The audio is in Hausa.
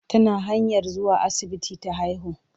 Tana hanyar zuwa asibiti ta haihu.